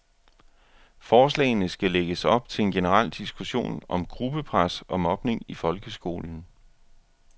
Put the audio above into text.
Forslagene skal lægge op til en generel diskussion om gruppepres og mobning i folkskolen.